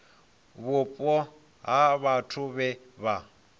vhupo ha vhathu vhe vha